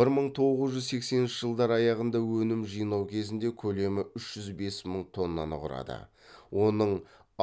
бір мың тоғыз жүз сексенінші жылдар аяғында өнім жинау кезінде көлемі үш жүз бес мың тоннаны құрады оның